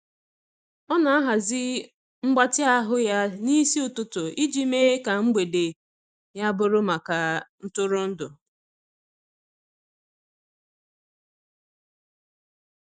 Ọ na-ahazi mgbatị ahụ ya n'isi ụtụtụ iji mee ka mgbede ya bụrụ maka ntụrụndụ.